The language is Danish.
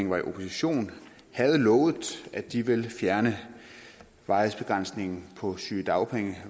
var i opposition havde lovet at de ville fjerne varighedsbegrænsningen på sygedagpenge